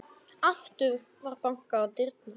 Aftur var bankað á dyrnar.